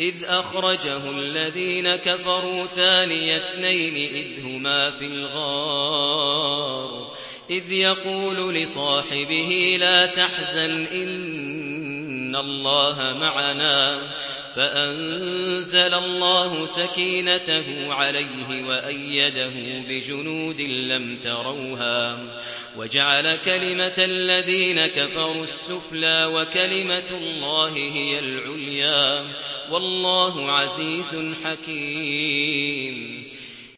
إِذْ أَخْرَجَهُ الَّذِينَ كَفَرُوا ثَانِيَ اثْنَيْنِ إِذْ هُمَا فِي الْغَارِ إِذْ يَقُولُ لِصَاحِبِهِ لَا تَحْزَنْ إِنَّ اللَّهَ مَعَنَا ۖ فَأَنزَلَ اللَّهُ سَكِينَتَهُ عَلَيْهِ وَأَيَّدَهُ بِجُنُودٍ لَّمْ تَرَوْهَا وَجَعَلَ كَلِمَةَ الَّذِينَ كَفَرُوا السُّفْلَىٰ ۗ وَكَلِمَةُ اللَّهِ هِيَ الْعُلْيَا ۗ وَاللَّهُ عَزِيزٌ حَكِيمٌ